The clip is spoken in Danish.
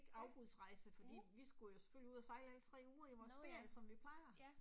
Ja, mh. Nåh ja, ja